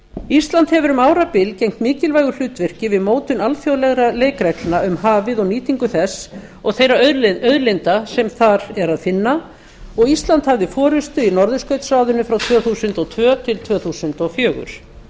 ísland hefur um árabil gegnt mikilvægu hlutverki við mótun alþjóðlegra leikreglna um hafið og nýtingu þess og þeirra auðlinda sem þar er að finna og ísland hafði forustu í norðurskautsráðinu frá tvö þúsund og tvö til tvö þúsund og fjögur